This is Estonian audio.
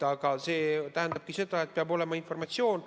Aga see tähendabki seda, et peab olema informatsiooni.